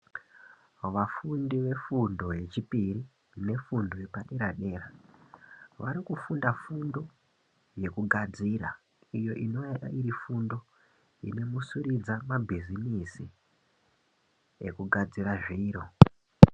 Vafundi vefundo yechipiri nefundo yepadera dera vari kufunda fundo yekugadzira iyo inoyari iri fundo inomusiridza mabhizimisi ekugadzira zviro.